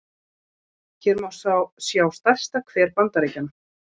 hér má sjá stærsta hver bandaríkjanna